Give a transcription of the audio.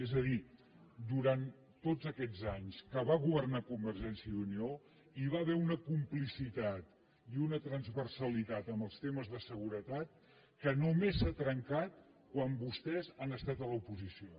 és a dir durant tots aquests anys que va governar convergència i unió hi va haver una complicitat i una transversalitat amb els temes de seguretat que només s’ha trencat quan vostès han estat a l’oposició